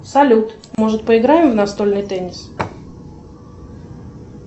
салют может поиграем в настольный тенис